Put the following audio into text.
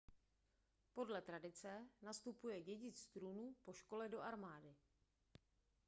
podle tradice nastupuje dědic trůnu po škole do armády